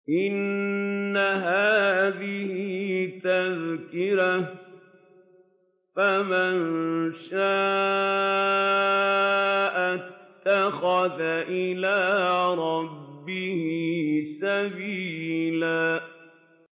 إِنَّ هَٰذِهِ تَذْكِرَةٌ ۖ فَمَن شَاءَ اتَّخَذَ إِلَىٰ رَبِّهِ سَبِيلًا